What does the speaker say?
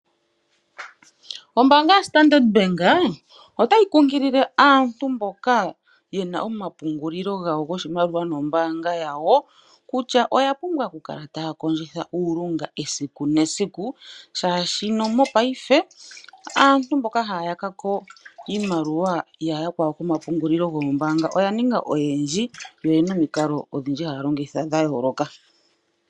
Ombaanga yaStandard Bank ota yi kunkilile aantu mboka ye na omapungulilo gawo goshimaliwa nombaanga yawo kutya oya pumbwa oku kala ta ya kondjitha uulunga, esiku nesiku, molwaashoka mopaife aantu mboka ha ya yakako iimaliwa yaantu komapungulilo goombaanga oya ninga oyendji, yo oha ya longitha omikalo odhindji dhayooloka.